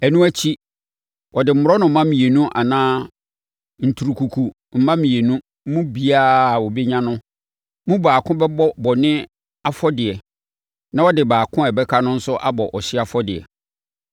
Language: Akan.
Ɛno akyi, ɔde mmorɔnoma mmienu anaa nturukuku mma mmienu mu biara a ɔbɛnya no mu baako bɛbɔ bɔne afɔdeɛ na ɔde baako a ɔbɛka no nso abɔ ɔhyeɛ afɔdeɛ.